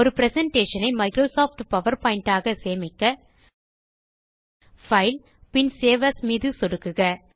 ஒரு பிரசன்டேஷன் ஐ Microsoft PowerPoint ஆக சேமிக்க பைல் பின் சேவ் ஏஎஸ் மீது சொடுக்குக